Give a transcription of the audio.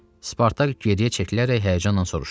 Spartak geriyə çəkilərək həyəcanla soruşdu: